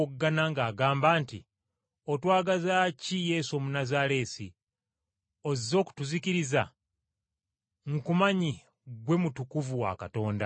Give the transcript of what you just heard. ng’agamba nti, “Otwagaza ki Yesu Omunnazaaleesi? Ozze okutuzikiriza? Nkumanyi gwe Mutukuvu wa Katonda.”